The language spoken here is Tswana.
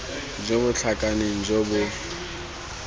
jo bo tlhakaneng jo bo